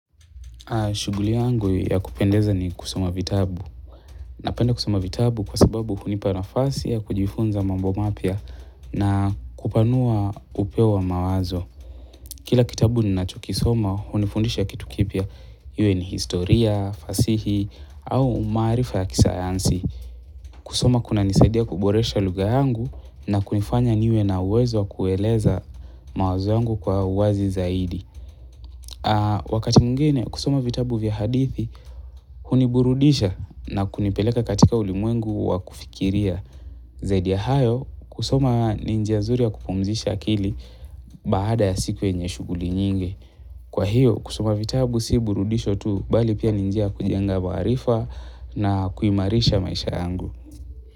Shughuli yangu ya kupendeza ni kusoma vitabu. Napenda kusoma vitabu kwa sababu hunipana fasi ya kujifunza mambo mapia na kupanua upeo wa mawazo. Kila kitabu ni nachukisoma hunifundisha kitu kipia. Iwe ni historia, fasihi au maarifa ya kisayansi. Kusoma kuna nisaidia kuboresha lugha yangu na kunifanya niwe na uwezo kueleza mawazo yangu kwa uwazi zaidi. Wakati mwingine kusoma vitabu vya hadithi huniburudisha na kunipeleka katika ulimwengu wakufikiria zaidi ya hayo kusoma ninjia nzuri ya kupumzisha akili baada ya siku yenye shughuli nyingi kwa hiyo kusoma vitabu si burudisho tu bali pia ninjia kujenga waarifa na kuimarisha maisha yangu.